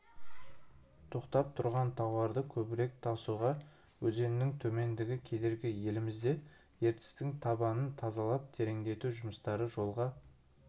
тоқтап тұрған тауарды көбірек тасуға өзеннің тереңдігі кедергі елімізде ертістің табанын тазалап тереңдету жұмыстары жолға